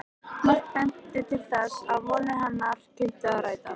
Margt benti til þess, að vonir hennar kynnu að rætast.